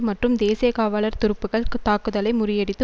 மற்றும் தேசிய காவாலர் துருப்புகள்க் தாக்குதலை முறியடித்து